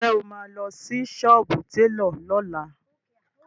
Ǹjẹ́ o máa lọ sí sọ́ọ́bù télọ̀ lọ́la?